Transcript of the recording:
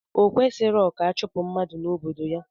Okwesirọ ka achupu mmadu na obodo ya